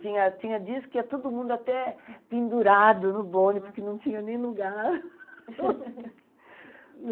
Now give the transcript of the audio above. Tinha tinha dias que ia todo mundo até pendurado no bonde, porque não tinha nem lugar.